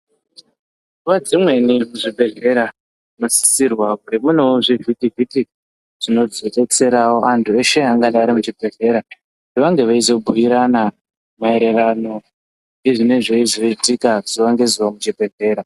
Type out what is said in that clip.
Nguva dzimweni zvibhedhlera zvinosisirwa kunge munewo zvivhiti vhiti zvinozobetserawo andu eshe angadai ari muchibhedhlera vange veyizobhuyirana maererano ngezvine zveyizoitika zuva nezuva muchibhedhlera.